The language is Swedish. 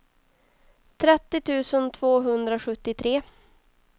trettio tusen tvåhundrasjuttiotre